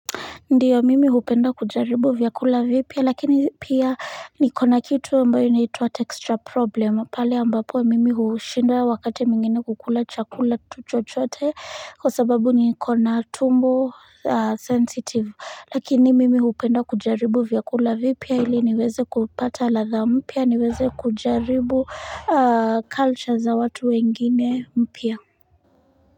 Ndio. Mimi hupenda kujaribu vyakula vipya lakini pia niko na kitu ambayo inaitwa texture problem pale ambapo mimi hushindwa wakati mwingine kukula chakula tu chochote kwa sababu niko na tumbo sensitive lakini mimi hupenda kujaribu vyakula vipya ili niweze kupata ladha mpya niweze kujaribu culture za watu wengine mpya.